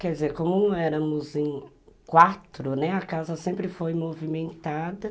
Quer dizer, como éramos quatro, né, a casa sempre foi movimentada.